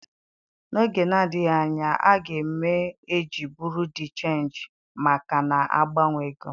N'oge na-adịghị anya, a ga m eji buro de chenji maka na-agbanwe ego.